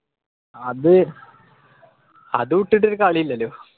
അത് അത് വിട്ടിട്ടൊരു കളി ഇല്ലല്ലോ